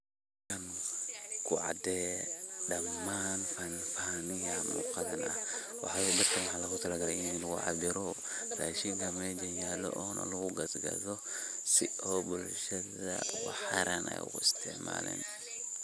Ku caadeh dhamn miyah muqaan Waxa lagu talaagalay ini cabeeroh rashenka meesha yaaloh oo lagu kathoh si oo bulshada waxay raban ugu isticmalan .